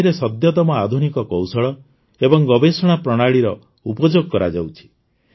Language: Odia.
ଏଥିରେ ସଦ୍ୟତମ ଆଧୁନିକ କୌଶଳ ଏବଂ ଗବେଷଣା ପ୍ରଣାଳୀର ଉପଯୋଗ କରାଯାଉଛି